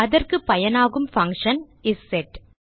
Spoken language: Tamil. அதற்கு பயனாகும் பங்ஷன் இசெட்